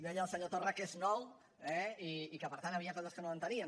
deia el senyor torra que és nou eh i que per tant hi havia coses que no entenien